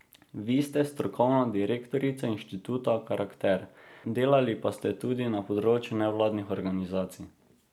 Vi ste strokovna direktorica inštituta Karakter, delali pa ste tudi na področju nevladnih organizacij.